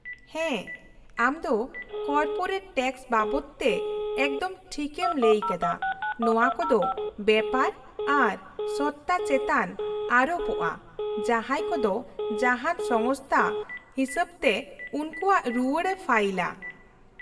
-ᱦᱮᱸ, ᱟᱢ ᱫᱚ ᱠᱚᱨᱯᱳᱨᱮᱴ ᱴᱮᱠᱥ ᱵᱟᱵᱚᱫ ᱛᱮ ᱮᱠᱫᱚᱢ ᱴᱷᱤᱠᱮᱢ ᱞᱟᱹᱭᱟᱠᱟᱫᱟ; ᱱᱚᱶᱟ ᱠᱚᱫᱚ ᱵᱮᱯᱟᱨ ᱟᱨ ᱥᱚᱛᱛᱟ ᱪᱮᱛᱟᱱ ᱟᱨᱳᱯᱚᱜᱼᱟ ᱡᱟᱦᱟᱸᱭ ᱠᱚᱫᱚ ᱡᱟᱦᱟᱱ ᱥᱚᱝᱥᱛᱷᱟ ᱦᱤᱥᱟᱹᱵᱛᱮ ᱩᱝᱠᱩᱣᱟᱜ ᱨᱩᱣᱟᱹᱲᱮ ᱯᱷᱟᱭᱤᱞᱼᱟ ᱾